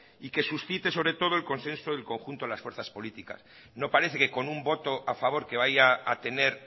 y que suscite sobre todo el consenso del conjunto de las fuerzas políticas no parece que con un voto a favor que vaya a tener